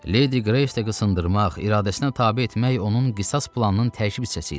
Ledi Qreysi də qısındırmaq, iradəsinə tabe etmək onun qisas planının tərkib hissəsi idi.